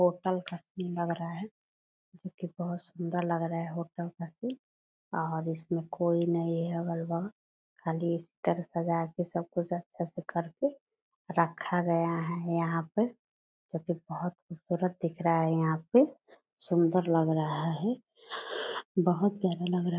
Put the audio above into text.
hotel Khasti लग रहा है जो की बहुत सुंदर लग रहा है होटल खस्ती और इसमे कोई नही है अगल बगल खाली इस तरह सजा के सब कुछ अछे से करके रखा गया ह यहाँ पे जो की बहुत खूबसूरत दिख रहा है यहाँ पे सुंदर लग रहा है बहुत प्यारा लग रहा --